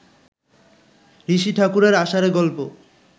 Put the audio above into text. ঋষি ঠাকুরের আষাঢ়ে গল্প